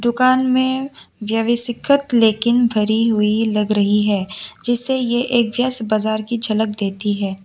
दुकान में लेकिन भरी हुई लग रही है जिससे यह एक व्यस्त बाजार की झलक देती है।